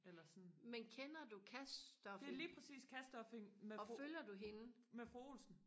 eller sådan det er lige præcis Cash-stuffing med fru med fru Olsen